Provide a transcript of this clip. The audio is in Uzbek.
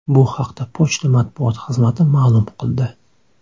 Bu haqda pochta matbuot xizmati ma’lum qildi .